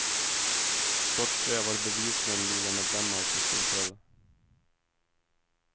Trots det var det bevisligen ligamedlemmar som slog till.